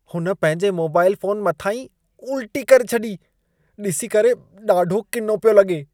हुन पंहिंजे mobile phone मथां ई उल्टी करे छॾी। ॾिसी करे ॾाढो किनो पियो लॻे।